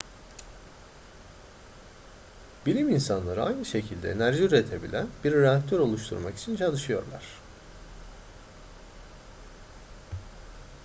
bilim insanları aynı şekilde enerji üretebilen bir reaktör oluşturmak için çalışıyorlar